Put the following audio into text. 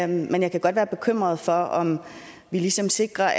men jeg kan godt være bekymret for om vi ligesom sikrer